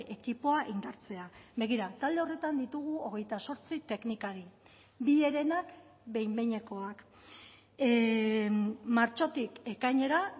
ekipoa indartzea begira talde horretan ditugu hogeita zortzi teknikari bi herenak behin behinekoak martxotik ekainera